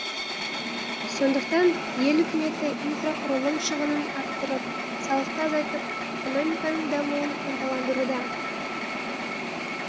сондықтан ел үкіметі инфрақұрылым шығынын арттырып салықты азайтып экономиканың дамуын ынталандыруда